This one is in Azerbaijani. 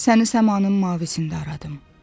Səni səmanın mavisində aradım.